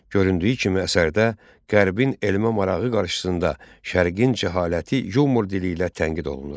Göründüyü kimi, əsərdə Qərbin elmə marağı qarşısında Şərqin cəhaləti yumor dili ilə tənqid olunur.